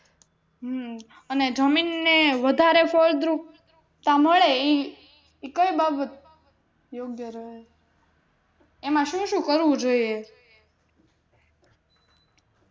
હમ અને જમીન ને વધારે ફળદ્રુપતા મળે ઈ કઈ બાબત એમાં શું શું કરવું જોઈએ